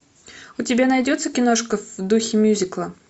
у тебя найдется киношка в духе мюзикла